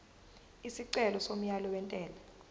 isicelo somyalo wentela